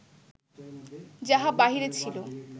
যাহা বাহিরে ছিল